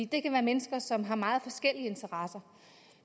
det kan være mennesker som har meget forskellige interesser